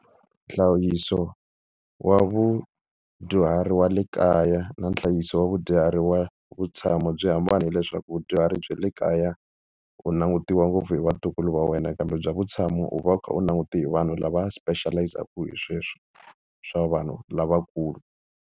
Nhlayiso wa vadyuhari wa le kaya na nhlayiso wa vadyuhari wa vutshamo byi hambana hileswaku vadyuhari bya le kaya u langutiwa ngopfu hi vatukulu va wena, kambe bya vutshamo u va u kha u langute hi vanhu lava special-izaka hi sweswo swa vanhu lavakulu.